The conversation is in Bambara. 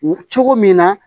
Cogo min na